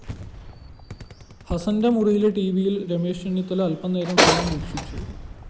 ഹസ്സന്റെ മുറിയിലെ ടിവിയില്‍ രമേശ് ചെന്നിത്തല അല്‍പനേരം ഫലം വീക്ഷിച്ചു